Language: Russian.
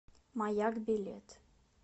маяк билет